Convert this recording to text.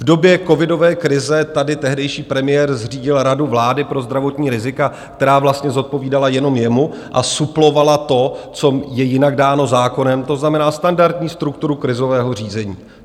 V době covidové krize tady tehdejší premiér zřídil Radu vlády pro zdravotní rizika, která vlastně zodpovídala jenom jemu a suplovala to, co je jinak dáno zákonem, to znamená standardní strukturu krizového řízení.